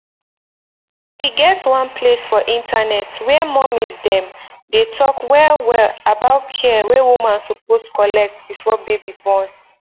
e get one place for internet where mommies dem dey talk well well about care wey woman suppose collect before baby born